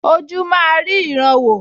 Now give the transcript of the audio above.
Ojú máa rí ìran wò